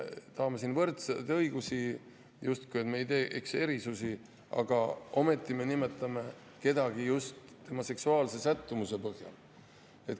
Me tahame võrdseid õigusi, justkui ei tee erisusi, aga ometi me nimetame kedagi just tema seksuaalse sättumuse põhjal.